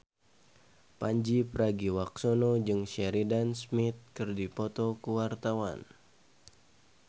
Pandji Pragiwaksono jeung Sheridan Smith keur dipoto ku wartawan